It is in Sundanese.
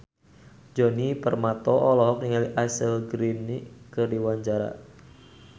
Djoni Permato olohok ningali Ashley Greene keur diwawancara